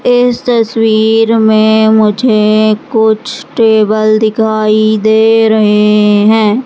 इस तस्वीर में मुझे कुछ टेबल दिखाई दे रहे हैं।